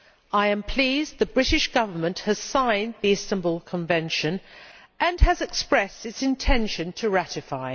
I am pleased the British Government has signed the Istanbul Convention and has expressed its intention to ratify.